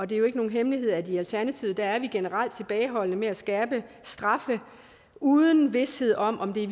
det er jo ikke nogen hemmelighed at i alternativet er vi generelt tilbageholdende med at skærpe straffe uden vished om om det